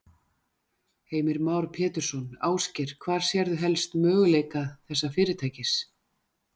Heimir Már Pétursson: Ásgeir, hvar sérðu helst möguleika þessa fyrirtækis?